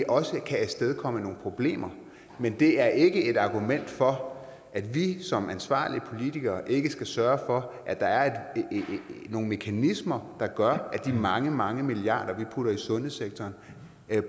også kan afstedkomme nogle problemer men det er ikke et argument for at vi som ansvarlige politikere ikke skal sørge for at der er nogle mekanismer der gør at de mange mange milliarder vi putter i sundhedssektoren